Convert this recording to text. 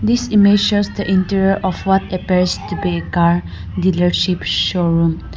this image shows the interior of what appears to be a car dealership showroom.